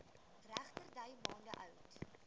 regterdy maande oud